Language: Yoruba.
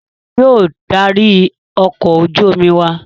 Tádé ni yóò darí ọkọ̀ ojú-omi wa.